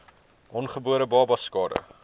ongebore babas skade